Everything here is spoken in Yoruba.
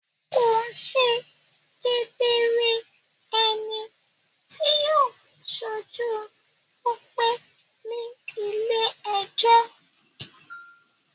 Kò ṣe kedere ẹni tí yóò ṣojú Tope ní ilé-ẹjọ́.